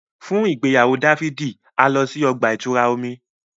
Fun igbeyawo Dafidi, a lọ si ọgba-itura omí